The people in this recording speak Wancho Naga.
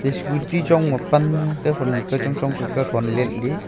scooty chongma pan kothonnu kauchong chong kah kathon letley.